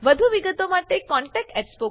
વધુ વિગતો માટે contactspoken tutorialorg પર લખો